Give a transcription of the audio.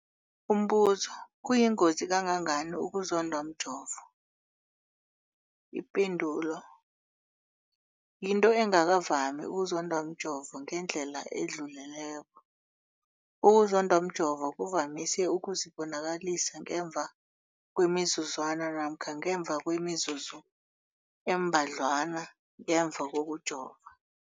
Umbuzo, kuyingozi kangangani ukuzondwa mjovo? Ipendulo, yinto engakavami ukuzondwa mjovo ngendlela edluleleko. Ukuzondwa mjovo kuvamise ukuzibonakalisa ngemva kwemizuzwana namkha ngemva kwemizuzu embadlwana ngemva kokujova.